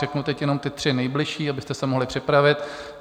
Řeknu teď jenom ty tři nejbližší, abyste se mohli připravit.